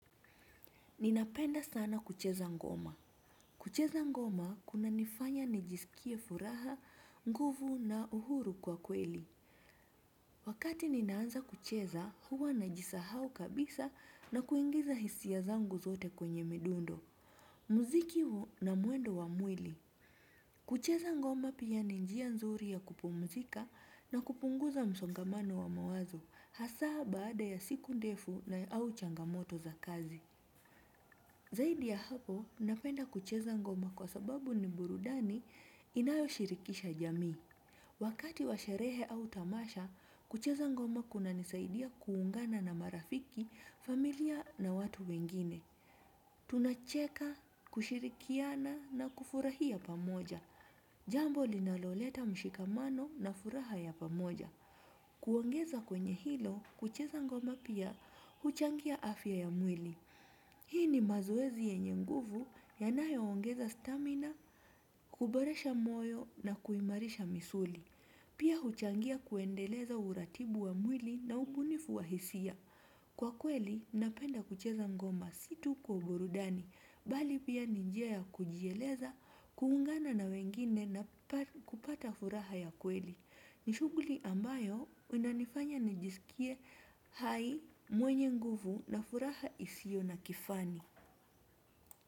Ninapenda sana kucheza ngoma. Kucheza ngoma kuna nifanya nijisikie furaha, nguvu na uhuru kwa kweli. Wakati ninaanza kucheza huwa najisahau kabisa na kuingiza hisia zangu zote kwenye midundo. Muziki huu na mwendo wa mwili. Kucheza ngoma pia ni njia nzuri ya kupumzika na kupunguza msongamano wa mawazo. Hasa baada ya siku ndefu na au changamoto za kazi. Zaidi ya hapo, napenda kucheza ngoma kwa sababu ni burudani inayo shirikisha jamii. Wakati wa sherehe au tamasha, kucheza ngoma kuna nisaidia kuungana na marafiki, familia na watu wengine. Tunacheka, kushirikiana na kufurahia pamoja. Jambo linaloleta mshikamano na furaha ya pamoja. Kuongeza kwenye hilo, kucheza ngoma pia huchangia afya ya mwili. Hii ni mazoezi yenye nguvu yanayo ongeza stamina, kuboresha moyo na kuimarisha misuli. Pia huchangia kuendeleza uratibu wa mwili na umunifu wa hisia. Kwa kweli, napenda kucheza ngoma si tu kwa burudani. Bali pia ni njia ya kujieleza, kuungana na wengine na kupata furaha ya kweli. Ni shughuli ambayo kwenda nifanye nijisikie hai mwenye nguvu na furaha isiyo na kifani.